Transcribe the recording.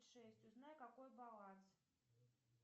шесть узнай какой баланс